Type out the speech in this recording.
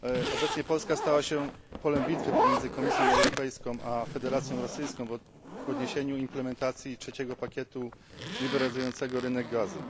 Obecnie Polska stała się polem bitwy pomiędzy Komisją Europejską a Federacją Rosyjską w odniesieniu do implementacji trzeciego pakietu liberalizującego rynek gazu.